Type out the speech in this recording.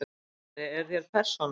Kennari: Eruð þér persóna?